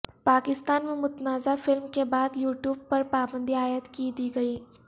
پاکستان میں متنازع فلم کے بعد یوٹیوب پر پابندی عائد کی دی گئی